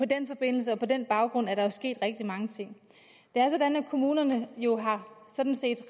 den forbindelse og på den baggrund er der jo sket rigtig mange ting det er sådan at kommunerne jo sådan set